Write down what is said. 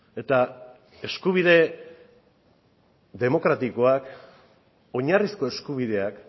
eta eskubide demokratikoak oinarrizko eskubideak